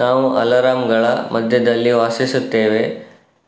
ನಾವು ಅಲಾರಾಂಗಳ ಮಧ್ಯದಲ್ಲಿ ವಾಸಿಸುತ್ತೇವೆ